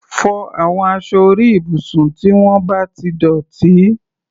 Fọ àwọn aṣọ orí ibùsùn tí wọ́n bá ti dọ̀tí!